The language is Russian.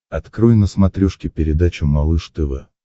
открой на смотрешке передачу малыш тв